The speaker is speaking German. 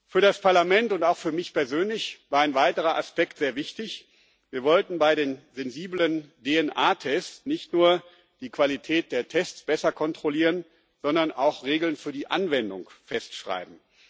Für das Parlament und auch für mich persönlich war ein weiterer Aspekt sehr wichtig Wir wollten bei den sensiblen DNA-Tests nicht nur die Qualität der Tests besser kontrollieren, sondern auch Regeln für die Anwendung festschreiben.